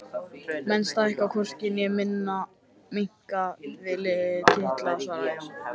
Menn stækka hvorki né minnka við titla, svaraði Jón.